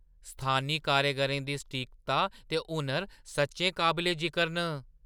स्थानी कारीगरें दी सटीकता ते हुनर सच्चैं काबले-जिकर न।